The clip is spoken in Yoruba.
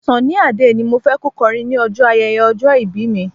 Sunny Adé ni mo fẹ́ kó kọrin ní ọjọ́ ayẹyẹ ọjọ́ ìbí mi.